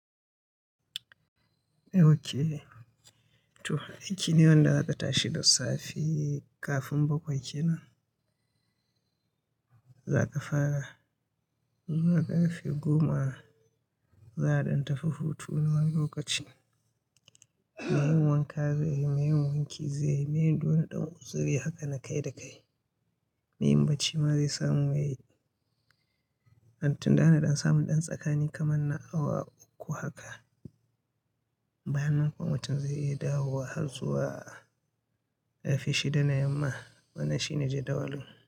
Okay, to aikine wanda zaka shi da safe kafin baƙwai kenan, za ka fara. Zuwa ƙarfe goma za a ɗan tafi hutu na wani lokaci. Meyin wanka zai yi, meyin wanki zai yi, meyin ɗora ɗora zaiyi haka na kai da kai. Meyin bacci ma zai samu yayi. An tunda ana ɗan samun ɗan tsakani kamar na awa uku haka. Bayannan kuwa mutum zai iya dawowa har zuwa ƙarfe shida na yamma. Wannan shi ne jadawalin.